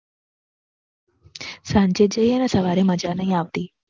સાંજે જ જઈને સવારે મજા નહીં આવતી